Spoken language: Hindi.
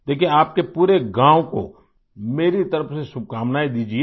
देखिये आपके पूरे गाँव को मेरी तरफ से शुभकामनाएं दीजिये